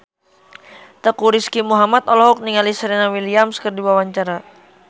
Teuku Rizky Muhammad olohok ningali Serena Williams keur diwawancara